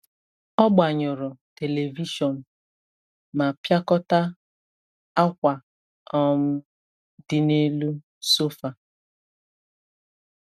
Ọ gbanyụrụ telivishọn ma pịakọta akwa um dị n’elu sofa.